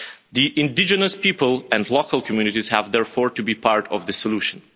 The indigenous people and local communities have therefore to be part of the solution.